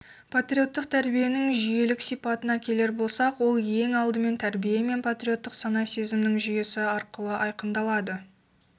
патриоттық тәрбиенің жүйелілік сипатына келер болсақ ол ең алдымен тәрбие мен патриоттық сана-сезімнің жүйесі арқылы айқындалады